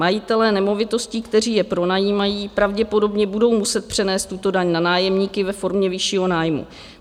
Majitelé nemovitostí, kteří je pronajímají, pravděpodobně budou muset přenést tuto daň na nájemníky ve formě vyššího nájmu.